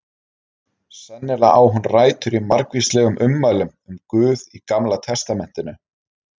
sennilega á hún rætur í margvíslegum ummælum um guð í gamla testamentinu